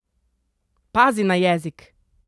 Pazi na jezik!